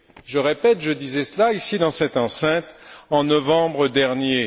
Je répète, je disais cela, ici dans cette enceinte, en novembre dernier.